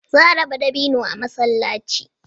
Za a raba dabino a masallaci